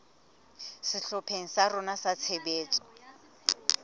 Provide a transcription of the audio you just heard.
sehlopheng sa rona sa tshebetso